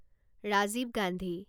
Rajiv Gandhi